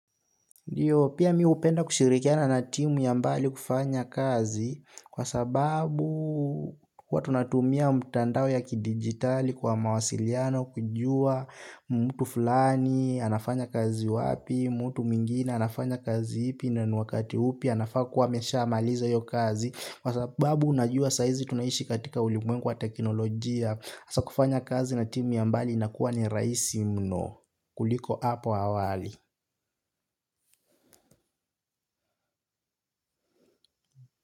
Pia mi hupenda kushirikiana na timu ya mbali kufanya kazi kwa sababu huwa tunatumia mtandao ya kidigitali kwa mawasiliano kujua mtu fulani, anafanya kazi wapi, mtu mwingine, anafanya kazi ipi na niwakati upi, anafaa kuwa ameshamaliza hiyo kazi. Kwa sababu unajua saizi tunaishi katika ulimwengu wa teknolojia, asakufanya kazi na timu ya mbali inakuwa ni rahisi mno kuliko hapo awali.